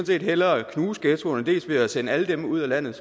set hellere knuse ghettoerne ved at sende alle dem ud af landet